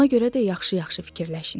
Ona görə də yaxşı-yaxşı fikirləşin.